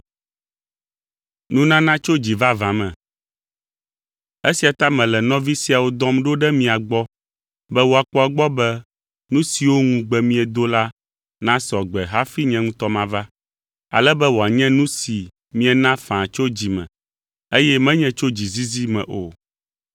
Esia ta mele nɔvi siawo dɔm ɖo ɖe mia gbɔ be woakpɔ egbɔ be nu siwo ŋugbe miedo la nasɔ gbe hafi nye ŋutɔ mava. Ale be wòanye nu si miena faa tso dzi me, eye menye tso dzizizi me o.